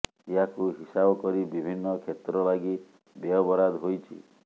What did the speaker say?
ଏହାକୁ ହିସାବ କରି ବିଭିନ୍ନ କ୍ଷେତ୍ର ଲାଗି ବ୍ୟୟବରାଦ ହୋଇଛି